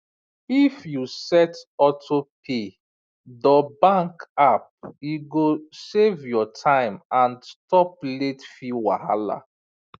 if you set auto pay dor bank app e go save your time and stop late fee wahala